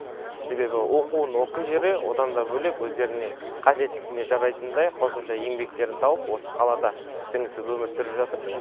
себебі оқуын оқи жүре одан да бөлек өздеріне қажеттілігіне жарайтындай қосымша еңбектерін тауып осы қалада сіңісіп өмір сүріп жатыр